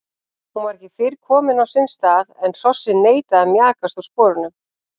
Hún var ekki fyrr kominn á sinn stað en hrossið neitaði að mjakast úr sporunum.